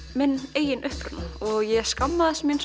eigin uppruna og ég skammaðist mín